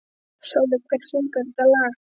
Sóli, hver syngur þetta lag?